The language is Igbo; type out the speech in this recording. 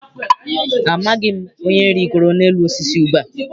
Amaghị m onye rigoro n'elu osisi ube a.